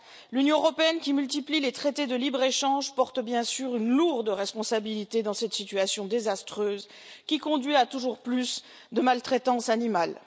L'Union européenne, qui multiplie les traités de libre échange, porte bien sûr une lourde responsabilité dans cette situation désastreuse, qui conduit à toujours plus de maltraitance animale.